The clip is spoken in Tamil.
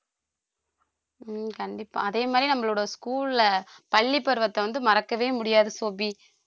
ஹம் கண்டிப்பா அதே மாதிரி நம்மளோட school ல பள்ளிப் பருவத்தை வந்து மறக்கவே முடியாது சோபி